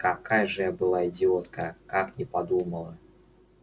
какая же я была идиотка как не подумала